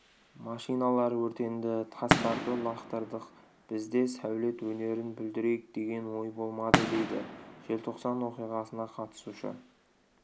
машиналар өртенді тастарды лақтырдық бізде сәулет өнерін бүлдірейік деген ой болмады дейді желтоқсан оқиғасына қатысушы